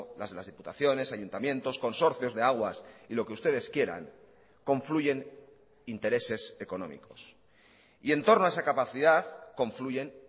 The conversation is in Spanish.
las de las diputaciones ayuntamientos consorcios de aguas y lo que ustedes quieran confluyen intereses económicos y entorno a esa capacidad confluyen